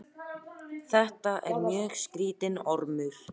Eiðunn, hvað heitir þú fullu nafni?